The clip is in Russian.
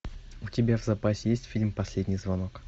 у тебя в запасе есть фильм последний звонок